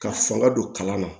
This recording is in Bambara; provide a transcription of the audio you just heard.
Ka fanga don kalan na